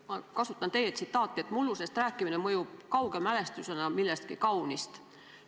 Ma kasutan teie ütlust, et mullusest rääkimine mõjub kauge mälestusena millestki kaunist.